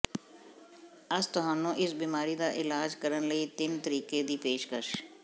ਅਸ ਤੁਹਾਨੂੰ ਇਸ ਬਿਮਾਰੀ ਦਾ ਇਲਾਜ ਕਰਨ ਲਈ ਤਿੰਨ ਤਰੀਕੇ ਦੀ ਪੇਸ਼ਕਸ਼